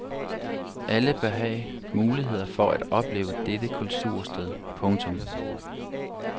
Alle bør have muligheder for at opleve dette kultursted. punktum